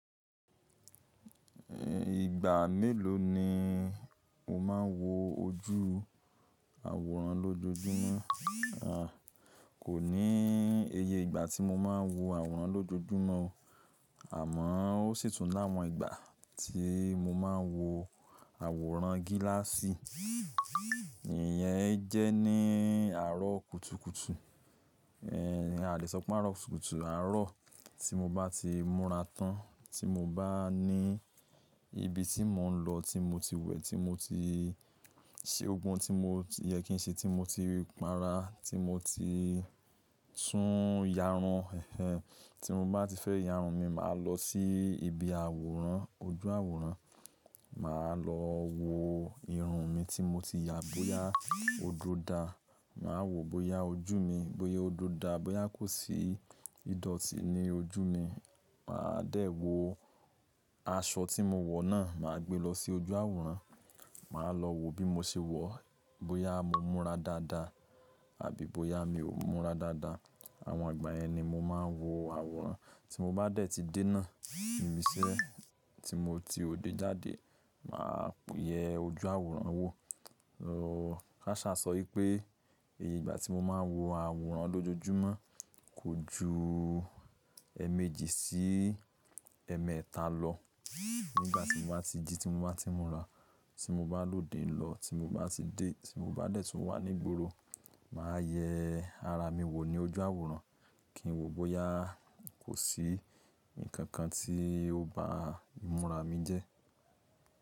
Ìgbà mélòó ni o máa ń wo ojú àwòrán lójoojúmọ́? Kò ní iye ìgbà tí mo máa ń wo àwòrán lójoojúmọ́, àmọ́ ó sì tún láwọn ìgbà tí mo máa ń wo àwòrán gíláàsì. Ìyẹn jẹ́ ní àárọ̀ kùtùkùtù, àle sọ pé àárọ̀ kùtùkùtù, àárọ̀ tí mo bá ti múra tán, tí mo bá ní ibi tí mò ń lọ, tí mo ti wẹ̀, tí mo ti ṣe ogun tí mo yẹ kí n ṣe, tí mo ti para, tí mo ti tún yàrun. Ẹ̀hen, tí mo bá ti fẹ́ yàrun, mi máa lọ sí ibi àwòrán, ojú àwòrán. Mà á lọ wo irun mi tí mo ti yà, bóyá oduò da. Mà á wo bóyá ojú mi, bóyá odò da, bóyá kò sí ìdọ̀tí ní ojú mi. Mà á dẹ̀ wo aṣọ tí mo wọ̀ náà, mà á gbe lọ sí ojú àwòrán. Mà á lọ wo bí mo ṣe wọ̀, bóyá mo múra dáadáa àbí bóyá mi ò múra dáadáa. Àwọn ìgbà yẹn ni mo máa ń wo àwòrán. Tí mo bá dẹ̀ ti dé náà, irinṣẹ́ tí mo ti òde jáde, mà á yẹ ojú àwòrán wo. Ro, káṣá sọ pé ìgbà tí mo máa ń wo àwòrán lójoojúmọ́ kò ju ẹẹ̀mẹ́jì sí ẹẹ̀mẹ́ta lọ. Nígbà tí mo bá ti jí, tí mo bá ti múra, tí mo bá lòde lọ, tí mo bá ti dé, tí mo bá dẹ̀ tún wà ní gboro, mà á yẹ ara mi wò ní ojú àwòrán kí n wo bóyá kò sí nǹkan kan tí ó bá ìmúra mi jẹ́.